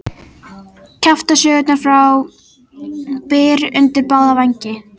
Kjaftasögurnar fá byr undir báða vængi